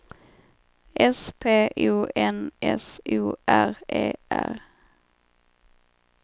S P O N S O R E R